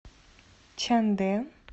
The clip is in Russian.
чандэ